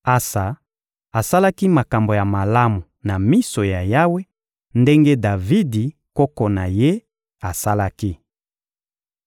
Asa asalaki makambo ya malamu na miso ya Yawe, ndenge Davidi, koko na ye, asalaki.